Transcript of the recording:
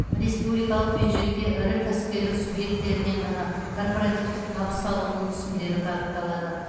республикалық бюджетке ірі кәсіпкерлік субъектілерінен ғана корпоративтік табыс салығының түсімдері бағытталады